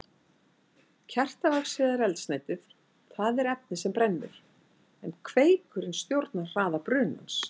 Kertavaxið er eldsneytið, það er efnið sem brennur, en kveikurinn stjórnar hraða brunans.